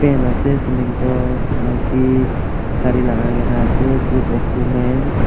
paint ase ceiling toh maki sare lakaina ase group of woman.